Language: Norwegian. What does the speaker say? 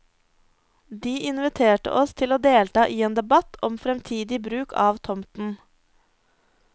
De inviterte oss til å delta i en debatt om fremtidig bruk av tomten.